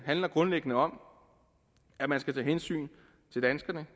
handler grundlæggende om at man skal tage hensyn til danskerne